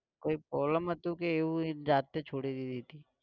કોય problem હતું કે એવું એની જાતે છોડી દીધી તી?